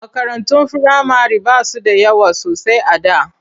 Makarantun firamare ba su da yawa sosai a da.